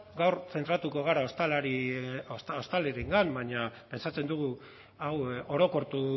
gaur zentratuko gara ostalariengan baina pentsatzen dugu hau orokortu